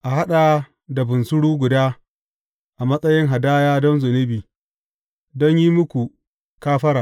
A haɗa da bunsuru guda a matsayin hadaya don zunubi, don yin muku kafara.